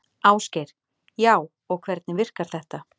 Ásgeir: Já, og hvernig virkar þetta?